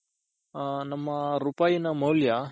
ನಮ್ಮ ರೂಪಾಯ್ ನ ಮೌಲ್ಯ